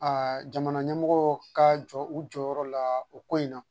jamana ɲɛmɔgɔ ka jɔ u jɔyɔrɔ la o ko in na